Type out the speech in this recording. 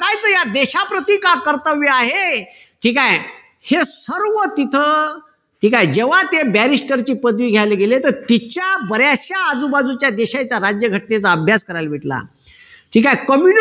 या देशाप्रती का कर्तव्य आहे. ठीक आहे. हे सर्व तिथं. ठीक आहे. जेव्हा ते barrister ची पदवी घ्यायला गेले तर तिच्या बऱ्याचश्या आजूबाजूच्या देशाच्या राज्यघटनेचा अभ्यास करायला भेटला. ठीक आहे.